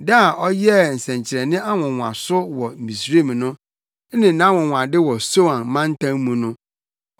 da a ɔyɛɛ nsɛnkyerɛnne nwonwaso wɔ Misraim no ne nʼanwonwade wɔ Soan mantam mu no.